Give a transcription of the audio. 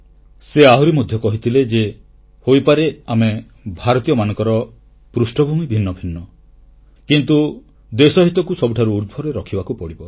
ସେ ଆହୁରି ମଧ୍ୟ କହିଥିଲେ ଯେ ହୋଇପାରେ ଆମେ ଭାରତୀୟମାନଙ୍କର ଭିନ୍ନ ଭିନ୍ନ ପୃଷ୍ଠଭୂମି ହୋଇପାରେ କିନ୍ତୁ ଦେଶ ହିତକୁ ସବୁଠାରୁ ଉର୍ଦ୍ଧ୍ବରେ ରଖିବାକୁ ପଡ଼ିବ